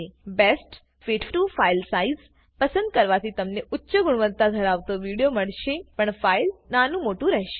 best fit to file size પસંદ કરવાથી તમને ઉચ્ચ ગુણવત્તા ધરાવતો વિડીઓ મળશે પણ ફાઈલ નાનું મોટું રહેશે